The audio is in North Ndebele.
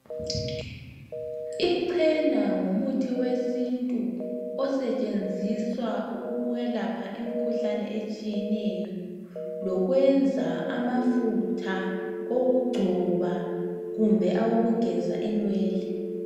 Ichena ngumuthi wesintu osentshenziswa ukwelapha imikhuhlane etshiye neyo lokwenza amafutha wokugcoba kumbe owogeza inwele .